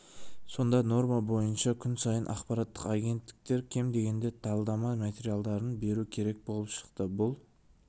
сонда норма бойынша күн сайын ақпараттық агенттіктер кем дегенде талдама материалын беру керек болып шықты бұл